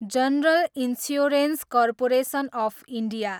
general Insurance Corporation of India